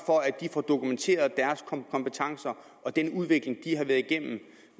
for at de får dokumenteret deres kompetencer og den udvikling de har været igennem